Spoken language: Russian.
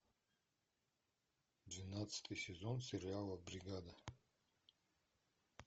двенадцатый сезон сериала бригада